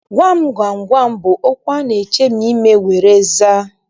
Gwam gwam gwam bụ okwu a na-echemi ime were aza.